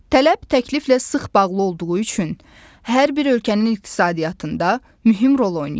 Tələb təkliflə sıx bağlı olduğu üçün hər bir ölkənin iqtisadiyyatında mühüm rol oynayır.